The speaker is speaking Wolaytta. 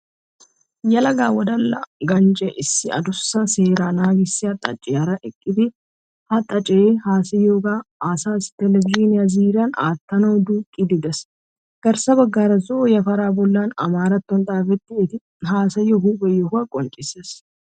Yelaga wodala ganjjee issi adussa seeraa naagissiya xaaciyara eqqidi ha xaacee haasayiyooga asassi televizhiine ziiryan aattanawu duuqqiiddi de'es. Garssa baggaara zo'o yafaraa bollan amaratto xuufe eti haasayiyo huuphe yohuwa qonccisses